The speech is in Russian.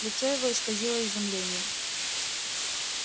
лицо его исказило изумление